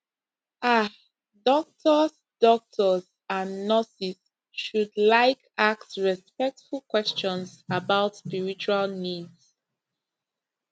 ah doctors doctors and nurses should like ask respectful questions about spiritual needs